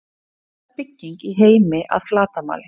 Hver er stærsta bygging í heimi að flatarmáli?